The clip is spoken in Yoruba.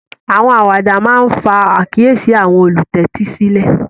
Àwọn àwàdà máà ńfa àkiyési àwọn ólutẹtisilẹ